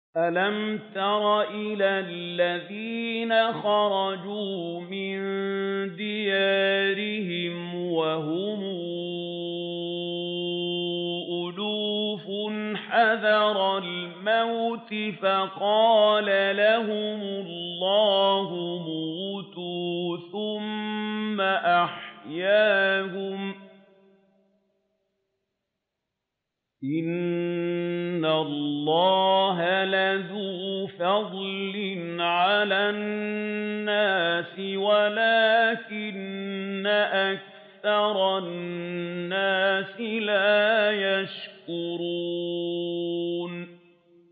۞ أَلَمْ تَرَ إِلَى الَّذِينَ خَرَجُوا مِن دِيَارِهِمْ وَهُمْ أُلُوفٌ حَذَرَ الْمَوْتِ فَقَالَ لَهُمُ اللَّهُ مُوتُوا ثُمَّ أَحْيَاهُمْ ۚ إِنَّ اللَّهَ لَذُو فَضْلٍ عَلَى النَّاسِ وَلَٰكِنَّ أَكْثَرَ النَّاسِ لَا يَشْكُرُونَ